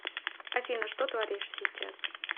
афина что творишь сейчас